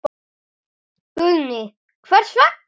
Guðný: Hvers vegna?